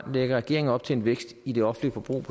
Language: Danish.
lægger regeringen op til en vækst i det offentlige forbrug